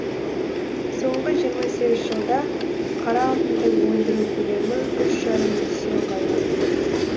соңғы жиырма сегіз жылда қара алтынды өндіру көлемі үш жарым есе ұлғайған